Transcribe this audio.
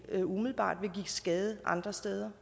ikke umiddelbart ville give skade andre steder